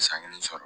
San kelen sɔrɔ